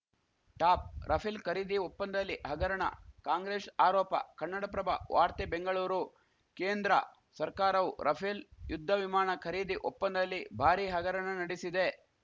top Rafale ಖರೀದಿ ಒಪ್ಪಂದದಲ್ಲಿ ಹಗರಣ ಕಾಂಗ್ರೆಶ್ ಆರೋಪ ಕನ್ನಡಪ್ರಭ ವಾರ್ತೆ ಬೆಂಗಳೂರು ಕೇಂದ್ರ ಸರ್ಕಾರವು ರಫೇಲ್‌ ಯುದ್ಧ ವಿಮಾಣ ಖರೀದಿ ಒಪ್ಪಂದದಲ್ಲಿ ಭಾರಿ ಹಗರಣ ನಡೆಸಿದೆ